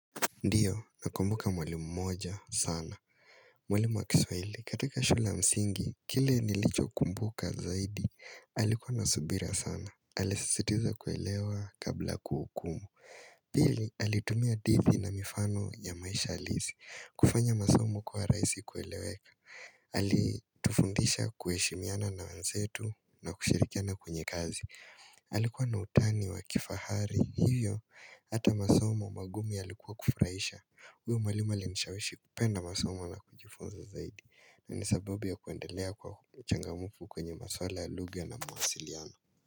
Ndiyo, nakumbuka mwalimu mmoja sana. Mwalimu wa kiswahili, katika shule msingi, kile nilichokumbuka zaidi, alikuwa na subira sana. Alisisitiza kuelewa kabla kuhukumu. Pili, alitumia hadithi na mifano ya maisha halisi. Kufanya masomo kuwa rahisi kueleweka. Alitufundisha kuheshimiana na wenzetu na kushirikiana kwenye kazi. Alikuwa na utani wa kifahari. Hivyo, hata masomo magumu yalikuwa kufurahisha huyo mwalimu alinishawishi kupenda masomo na kujifunza zaidi na ni sababu ya kuendelea kuwa mchangamfu kwenye masuala ya lugha na mawasiliano.